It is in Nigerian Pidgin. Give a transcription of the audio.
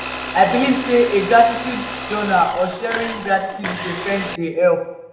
i believe say keeping a gratitude journal or sharing gratitude with a friend dey help.